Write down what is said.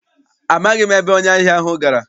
Amaghị m ebe onye ahịa ahụ gara.